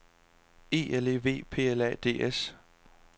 E L E V P L A D S